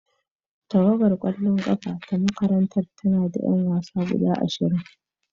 Tawagar kwallon kafa ta makarantar tana da 'yan wasa guda ashirin.